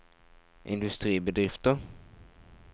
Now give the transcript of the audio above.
industribedrifter